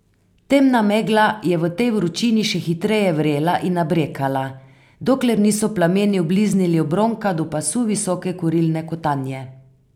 Temna megla je v tej vročini še hitreje vrela in nabrekala, dokler niso plameni obliznili obronka do pasu visoke kurilne kotanje.